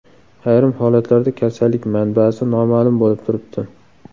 Ayrim holatlarda kasallik manbasi noma’lum bo‘lib turibdi.